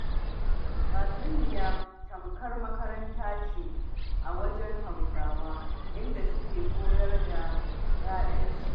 Tatsuniya tamkar makaranta ce a wajen Hausawa, inda suke koyar da 'ya'yansu.